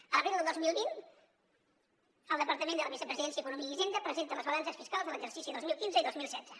a l’abril del dos mil vint el departament de la vicepresidència economia i hisenda presenta les balances fiscals de l’exercici dos mil quinze i dos mil setze